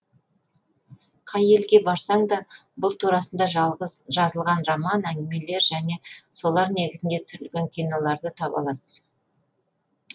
қай елге барсаң да бұл турасында жазылған роман әңгімелер және солар негізінде түсірілген киноларды таба аласыз